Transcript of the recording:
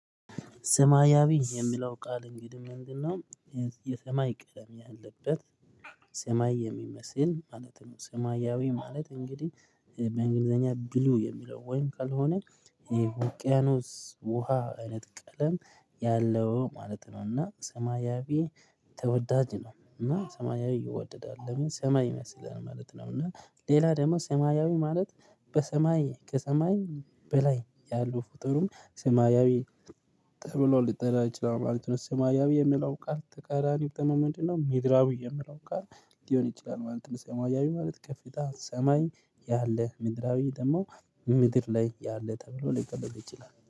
ሰማያዊ የሚለው ቃል እንግዲህ ምንድነው? የሰማይ ቀለም ያለበት ሰማይ የሚመስል ማለት ነው። ሰማያዊ ማለት እንግዲህ በእንግሊዘኛ ብሉ የሚለው ወይም ካልሆነ። ይሄ ውቅያኖስ ውሃ እይነት ቀለም ያለው ማለት ነው። እና ሰማያዊ ተወዳጅ ነው እና ሰማያዊ ይወደዳል ለምን ሰማይ ይመስለን ማለት ነው። እና ሌላ ደግሞ ሰማያዊ ማለት በሰማይ ከሰማይ በላይ ያሉ ፍጡርም ሰማያዊ ተብሎ ጠራ ይችላል ማለት ነው። ሰማያዊ የሚለው ቃል ተቃራኒው ደሞ ምንድነው? ሚድራዊ የሚለው ቃል ሊሆን ይችላል ማለት ነው። ሰማያዊ ማለት ከፍታ ሰማይ ያለ ምድራዊ ደግሞ ምድር ላይ ያለ ተብሎ ሊቀለድ ይችላል